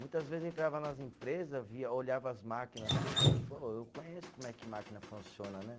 Muitas vezes eu entrava nas empresa, via, olhava as máquinas assim, eu falava, ô, eu conheço como é que máquina funciona, né?